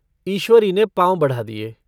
ईश्वरी ने पाँव बढ़ा दिये।